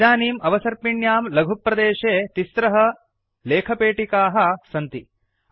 इदानीम् अवसर्पिण्यां लघुप्रदेशे त्रिस्रः लेखपेटिकाः टेक्स्ट् बाक्स् सन्ति